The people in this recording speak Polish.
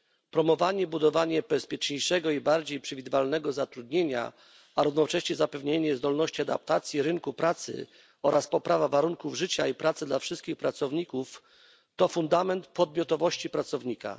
Promowanie i budowanie bezpieczniejszego i bardziej przewidywalnego zatrudnienia, a równocześnie zapewnienie zdolności adaptacji rynku pracy oraz poprawa warunków życia i pracy wszystkich pracowników to fundament podmiotowości pracownika.